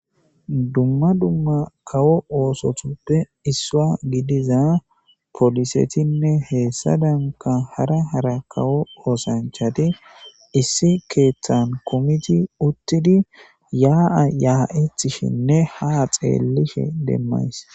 Dumma dumma kawo oosotuppe issua gidiza poolisetinne heessa danka hara hara kawo oosanchati issi keeththan kumiti uttidi yaa7a ya7etishinne ha xeellishe demmays.